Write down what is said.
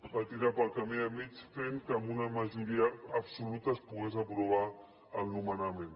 va tirar pel camí del mig fent que amb una majoria absoluta es pogués aprovar el nomenament